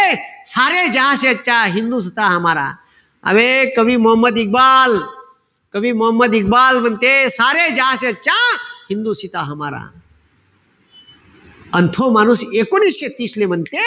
आबे कवी मोहम्मद इकबाल, कवी मोहम्मद इकबाल म्हणते अन तो माणूस एकोणीशे तीस ले म्हणते,